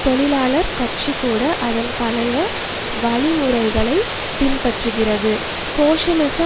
தொழிலாளர் கட்சி கூட அதன் பழைய வழிமுறைகைளப் பின்பற்றுகிறது சோசியலிச